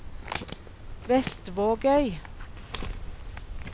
Vestvågøy